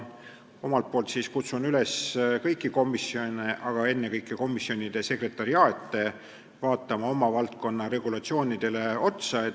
Omalt poolt kutsun üles kõiki komisjone, aga ennekõike komisjonide sekretariaate oma valdkonna regulatsioone üle vaatama.